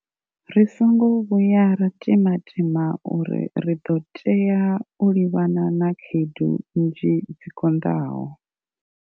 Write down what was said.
Ri songo vhuya ra tima tima uri ri ḓo tea u livhana na khaedu nnzhi dzi konḓaho.